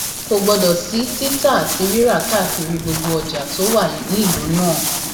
kò gbọdọ sí títà àti rírà káàkiri gbogbo ọjà tó wà nílùú náà